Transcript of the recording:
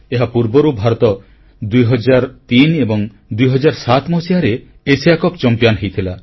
ଏହାପୂର୍ବରୁ ଭାରତ 2003 ଏବଂ 2007 ମସିହାରେ ଏସିଆ କପ ଚମ୍ପିଆନ ହୋଇଥିଲା